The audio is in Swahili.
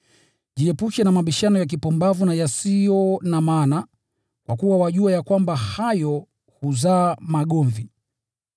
Jiepushe na mabishano ya kipumbavu na yasiyo na maana, kwa kuwa wajua ya kwamba hayo huzaa magomvi.